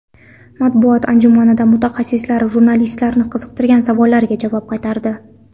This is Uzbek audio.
Matbuot anjumanida mutaxassislar jurnalistlarni qiziqtirgan savollarga javob qaytardi.